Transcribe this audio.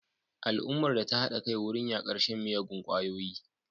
Al'ummar ta hada kai wurin yakar shan miyagun kwayoyi